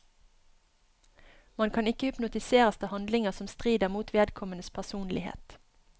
Man kan ikke hypnotiseres til handlinger som strider mot vedkommendes personlighet.